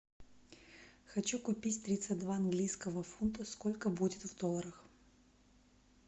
хочу купить тридцать два английского фунта сколько будет в долларах